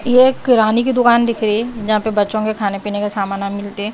ये एक किराने की दुकान दिख रही है जहां पे बच्चों के खाने पीने का सामाना मिलते--